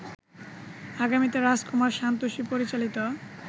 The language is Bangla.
আগামীতে রাজকুমার সান্তোষী পরিচালিত